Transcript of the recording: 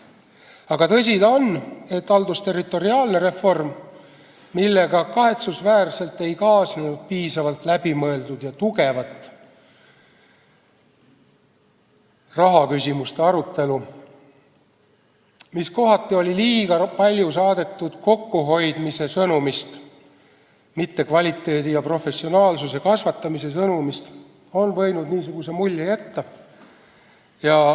Aga tõsi ta on, et haldusterritoriaalne reform, millega ei kaasnenud piisavalt läbimõeldud ja tugevat rahaküsimuste arutelu ning mis kohati oli liiga palju saadetud kokkuhoiu sõnumist, mitte kvaliteedi ja professionaalsuse kasvatamise sõnumist, on võinud sellise mulje jätta.